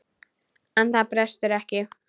En það brestur ekki.